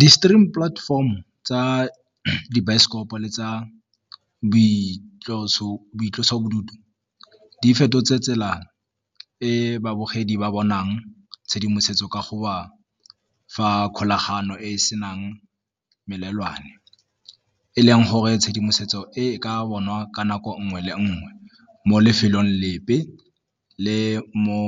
Di-stream platform-o tsa dibaesekopo le tsa boitlosobodutu di fetotse tsela e babogedi ba bonang tshedimosetso ka go ba fa kgolagano e e senang melelwane, e leng gore tshedimosetso e ka bonwa ka nako nngwe le nngwe mo lefelong lepe le mo